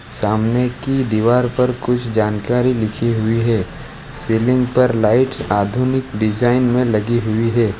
सामने की दीवार पर कुछ जानकारी लिखी हुई हैं सीलिंग पर लाइट्स आधुनिक डिजाइन में लगी हुई हैं।